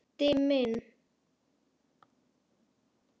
Frændi minn